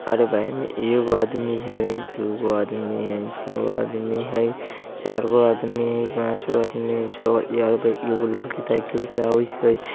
अरे भई एगो आदमी हई दूगो आदमी हई तीनगो आदमी हई चारगो आदमी हई पांचो गो आदमी छेगो आदमी हई इ आवित हई एगो लड़की साइकिल से अवित हई |